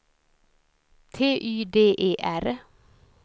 T Y D E R